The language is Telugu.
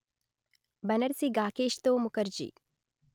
బనర్సి గాకేశ్తో ముకర్జీ